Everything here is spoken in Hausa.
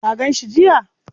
Ka gan shi jiya?